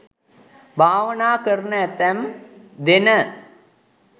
භාවනා කරන ඇතැම් දෙන